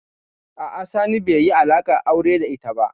A'a, Sani bai yi alaƙar aure da ita ba.